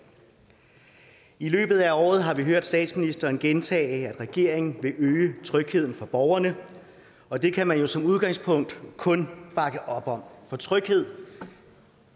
i løbet af året har vi hørt statsministeren gentage at regeringen vil øge trygheden for borgerne og det kan man som udgangspunkt kun bakke op om for tryghed